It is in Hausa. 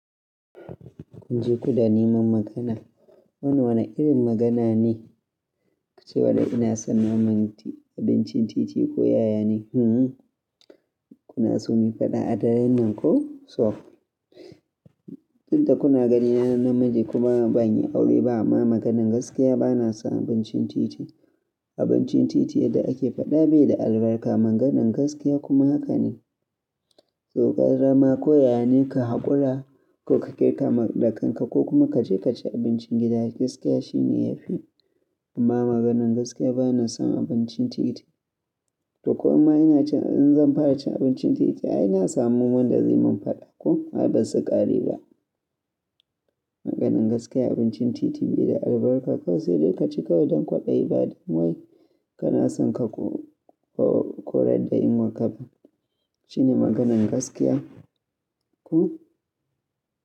Kunje kuda neman magana. Wane-wane irin magana ne? Kucewa da ina son naman abincin titi ko yaya ne? Hm-hm. Kuna so mu fada a daren nan ko? So. Tunda kuna ganina na namiji kuma banyi aure ba amma maganan gaskiya bana son abincin titi. Abincin titi yadda ake fada bai da albarka. Maganan gaskiya kuma haka ne. To gara ma ko yaya ne ka hakura ko ka kirga da kanka ko kuma kaje kaci abincin gida, gaskiya shine yafi. Amma maganan gaskiya bana son abincin titi. To ko amma inacin, in zan fara cin abincin titi ai na samu wanda zai mun fada ko? Ai basu ƙari ba. Maganan gaskiya abincin titi bai da albarka kawai sai dai kaci kawai don kwaɗayi baɗi. Wai kana son ka koreɗayin waƙaɓa? Shine maganan gaskiya. Ku.